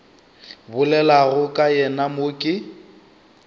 bolelago ka yena mo ke